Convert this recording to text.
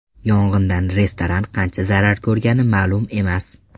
Yong‘indan restoran qancha zarar ko‘rgani ma’lum emas.